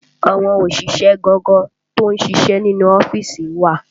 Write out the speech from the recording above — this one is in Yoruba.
Àwọn òṣìṣẹ́ gangan tó ń ṣíṣe nínú ọ́fíìsì wà